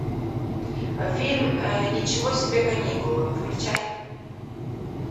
фильм ничего себе каникулы включай